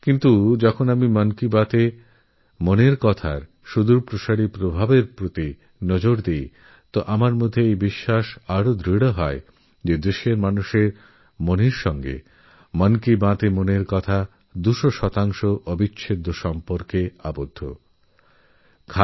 কিন্তু যখন আমি মন কি বাতএর প্রভাবের দিকে তাকিয়ে দেখি তখনআমার বিশ্বাস দৃঢ় হয় যে মন কি বাত এদেশের জনমানসের সঙ্গে অটুট সম্পর্কে বাঁধাপড়েছে